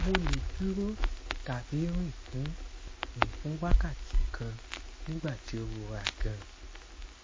mo le duro tabi rin fun rin fun wakati kan nigbati o rora gan